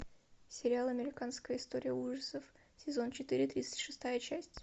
сериал американская история ужасов сезон четыре тридцать шестая часть